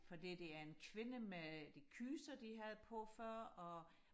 fordi det er en kvinde med de kyser de havde på før og